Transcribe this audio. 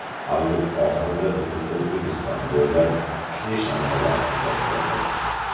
Avgust oxirida butun O‘zbekiston bo‘ylab kuchli shamollar kuzatiladi.